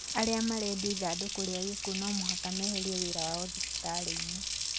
Arĩa marendia ithandũkũ rĩa gĩkuũ no mũhaka meherie wĩra wao thibitarĩ-inĩ